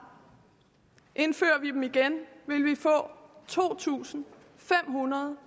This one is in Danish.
indfører vi dem igen vil vi få to tusind fem hundrede